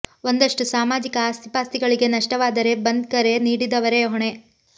ಒಂದಷ್ಟು ಸಾಮಾಜಿಕ ಆಸ್ತಿ ಪಾಸ್ತಿಗಳಿಗೆ ನಷ್ಟವಾದರೆ ಬಂದ್ ಕರೆ ನೀಡಿದವರೇ ಹೊಣೆ